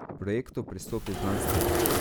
K projektu pristopi znanstveno.